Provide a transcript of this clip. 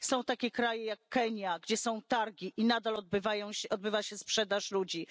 Są takie kraje jak Kenia, gdzie są targi i nadal odbywa się sprzedaż ludzi.